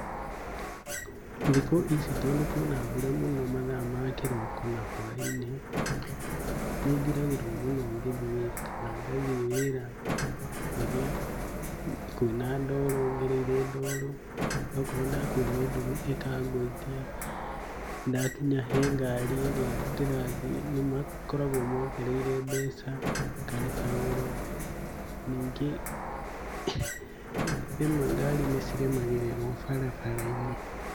Thikũ ici tondũ kwĩna mbura mũno mathaa ma kĩroko na hwaĩ-inĩ, nĩnjuragĩrwo mũno ngĩthiĩ wĩra, kana ngathiĩ wĩra kwĩna ndoro, ngereire ndoro. Na o okorwo ndakuo nĩnduthi ĩkangũithia. Ndakinya he ngari ĩrĩa ndĩrathiĩ, nĩmakoragwo mongereire mbeca ngarĩha goro , ningĩ rĩmwe ngari nĩciremagĩrĩrwo barabara-inĩ.